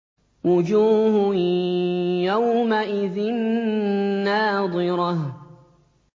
وُجُوهٌ يَوْمَئِذٍ نَّاضِرَةٌ